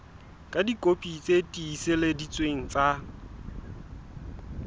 ka dikopi tse tiiseleditsweng tsa